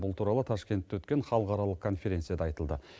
бұл туралы ташкентте өткен халықаралық конференцияда айтылды